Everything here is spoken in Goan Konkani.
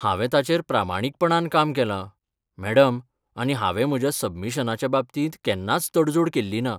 हांवे ताचेर प्रामाणीकपणान काम केलां, मॅडम, आनी हांवें म्हज्या सबमिशनाच्या बाबतींत केन्नाच तडजोड केल्ली ना.